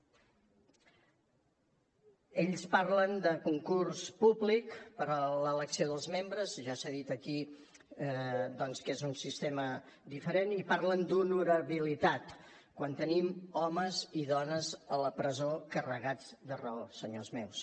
ells parlen de concurs públic per a l’elecció dels membres ja s’ha dit aquí doncs que és un sistema diferent i parlen d’honorabilitat quan tenim homes i dones a la presó carregats de raó senyors meus